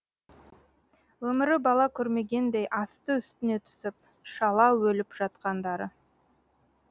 өмірі бала көрмегендей асты үстіне түсіп шала өліп жатқандары